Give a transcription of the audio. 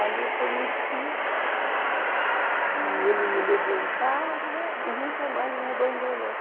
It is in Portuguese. Ali eu conheci, e ele me levou em casa e nunca mais me abandonou.